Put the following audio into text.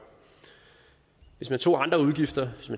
hvis man tog andre udgifter